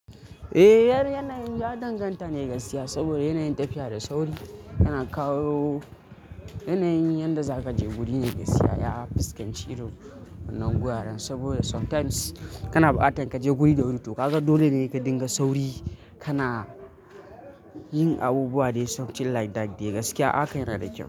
Eh, yar yanayin ya danganta ne ga siya saboda yanayin tafiya da sauri yana kawo yanayin yadda za kaje guri ne ga siya. Ya fi cin ciro wannan guraren saboda sometimes kana bata kaje guri da wuri to kaga dole ne ka dinga sauri kana yin abubuwa dai sometimes like that da gaskiya aka yi radadi.